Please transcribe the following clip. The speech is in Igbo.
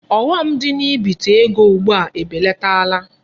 Ọghọm dị na ibite ego ugbua ebelatala.